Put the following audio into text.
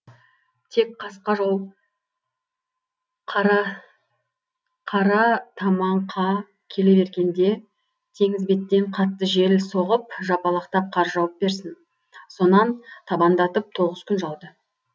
тек қасқажол қара қаратамаңка келе бергенде теңіз беттен қатты жел соғып жапалақтап қар жауып берсін сонан табандатып тоғыз күн жауды